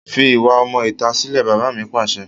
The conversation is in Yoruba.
Fi ìwà ọmọ ìta sílè! Bàbá mi Pàṣẹ.